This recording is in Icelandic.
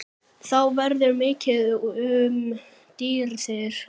Þá verður mikið um dýrðir